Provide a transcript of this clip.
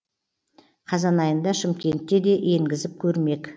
қазан айында шымкентте де енгізіп көрмек